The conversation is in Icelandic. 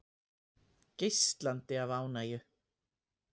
Geislandi af ánægju.